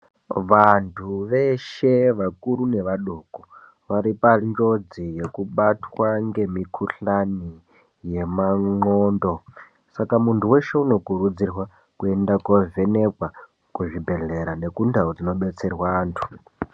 Vantu veshe vakuru nevadoko, vari panjodzi yekubatwa ngemikhuhlani yemandxondo. Saka muntu weshe unokurudzirwa kuenda kovhenekwa, kuzvibhedhlera nekundau dzinobetsera antu.